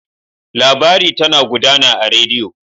Labari tana gudana a rediyo.